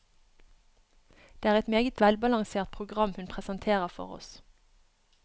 Det er et meget velbalansert program hun presenterer for oss.